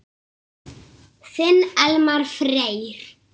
Þinn Elmar Freyr.